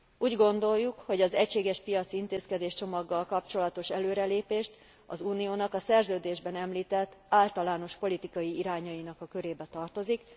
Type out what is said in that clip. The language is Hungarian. Úgy gondoljuk, hogy az egységes piaci intézkedéscsomaggal kapcsolatos előrelépés az Uniónak a szerződésben említett általános politikai irányainak a körébe tartozik.